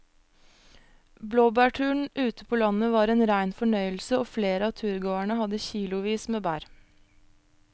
Blåbærturen ute på landet var en rein fornøyelse og flere av turgåerene hadde kilosvis med bær.